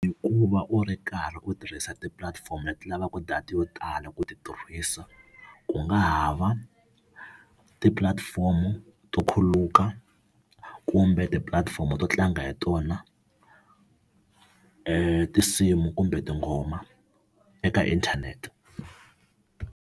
I ku va u ri karhi u tirhisa tipulatifomo leti lavaka data yo tala ku ti tirhisa, ku nga ha va ti-platform to khuluka, kumbe tipulatifomo to tlanga hi tona tinsimu kumbe tingoma eka inthanete.